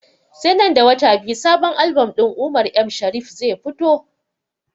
Sai nan da wata biyu sabon album din umar m shariff zai fito